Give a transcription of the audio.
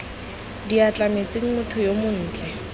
diatla metsing motho yo montle